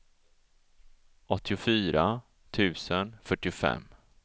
åttiofyra tusen fyrtiofem